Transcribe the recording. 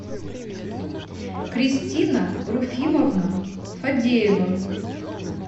кристина руфимовна фадеева